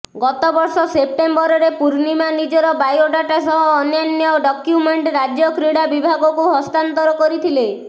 ଗତବର୍ଷ ସେପ୍ଟେମ୍ବରରେ ପୂର୍ଣ୍ଣିମା ନିଜର ବାୟୋଡାଟା ସହ ଅନ୍ୟାନ୍ୟ ଡକ୍ୟୁମେଣ୍ଟ୍ ରାଜ୍ୟ କ୍ରୀଡ଼ା ବିଭାଗକୁ ହସ୍ତାନ୍ତର କରିଥିଲେ